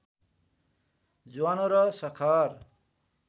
ज्वानो र सखर